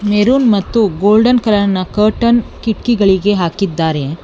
Maroon ಮತ್ತು golden ಕಲರ್ನ curtain ಕಿಟಕಿಗಳಿಗೆ ಹಾಕಿದ್ದಾರೆ.